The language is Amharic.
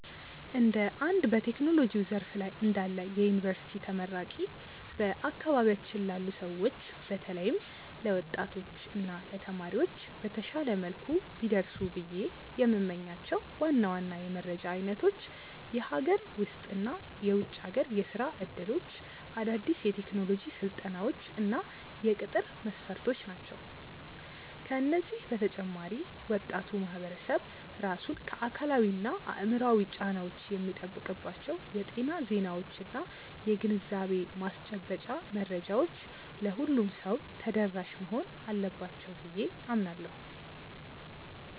እንደ አንድ በቴክኖሎጂው ዘርፍ ላይ እንዳለ የዩኒቨርሲቲ ተመራቂ፣ በአካባቢያችን ላሉ ሰዎች በተለይም ለወጣቶች እና ለተማሪዎች በተሻለ መልኩ ቢደርሱ ብዬ የምመኛቸው ዋና ዋና የመረጃ አይነቶች የሀገር ውስጥ እና የውጭ ሀገር የሥራ ዕድሎች፣ አዳዲስ የቴክኖሎጂ ስልጠናዎች እና የቅጥር መስፈርቶች ናቸው። ከዚህ በተጨማሪ ወጣቱ ማህበረሰብ ራሱን ከአካላዊና አእምሯዊ ጫናዎች የሚጠብቅባቸው የጤና ዜናዎችና የግንዛቤ ማስጨበጫ መረጃዎች ለሁሉም ሰው ተደራሽ መሆን አለባቸው ብዬ አምናለሁ።